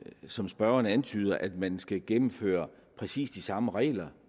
som spørgeren antyder at man skal gennemføre præcis de samme regler